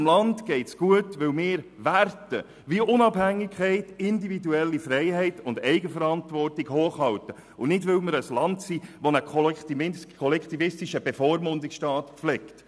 Unserem Land geht es gut, weil wir Werte wie Unabhängigkeit, individuelle Freiheit und Eigenverantwortung hochhalten und nicht, weil wir ein Land sind, das einen kollektivistischen Bevormundungsstaat pflegt.